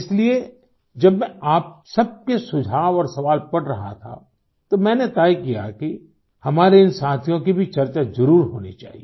इसलिए जब मैं आप सबके सुझाव और सवाल पढ़ रहा था तो मैंने तय किया कि हमारे इन साथियों की भी चर्चा जरूर होनी चाहिए